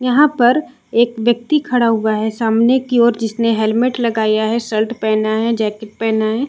यहाँ पर एक व्यक्ति खड़ा हुआ है सामने की ओर जिसने हैलमेट लगाया है शर्ट पहना है जैकेट पहना हैं।